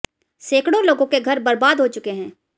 सैकड़ों लोगों के घर बर्बाद हो चुके हैं